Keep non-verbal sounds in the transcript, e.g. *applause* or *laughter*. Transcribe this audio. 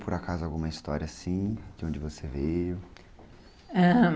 Por acaso alguma história assim, de onde você veio...? *unintelligible*